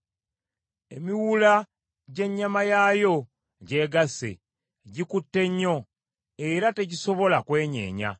Emiwula gy’ennyama yaayo gyegasse; gikutte nnyo era tegisobola kwenyeenya.